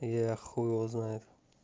и я хуй его знает